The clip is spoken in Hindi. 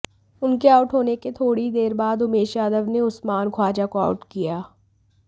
उनके आउट होने के थोड़ी देर बाद उमेश यादव ने उस्मान ख्वाजा को आउट किया